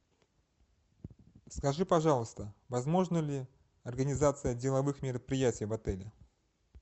скажи пожалуйста возможна ли организация деловых мероприятий в отеле